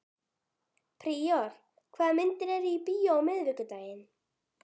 Príor, hvaða myndir eru í bíó á miðvikudaginn?